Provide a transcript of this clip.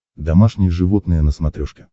домашние животные на смотрешке